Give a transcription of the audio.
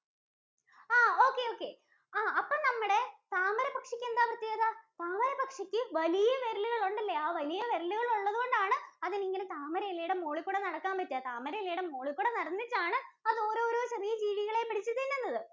ആഹ് okay, okay ആഹ് അപ്പോ നമ്മുടെ താമരപക്ഷിക്കെന്താ പ്രത്യേകത? താമരപക്ഷിക്ക് വലിയ വിരലുകളുണ്ടെല്ലേ? ആഹ് വലിയ വിരലുകള്‍ ഉള്ളതുകൊണ്ടാണ് അതിനിങ്ങനെ താമരയിലയുടെ മോളില്‍ കൂടെ നടക്കാന്‍ പറ്റുക. താമരയിലയുടെ മോളില്‍കൂടെ നടന്നിട്ടാണ് അതോരോരോ ചെറിയ ജീവികളെയും പിടിച്ചു തിന്നുന്നത്.